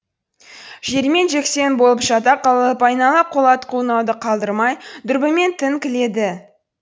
жермен жексен болып жата қалып айнала қолат қойнауды қалдырмай дүрбімен тінткіледі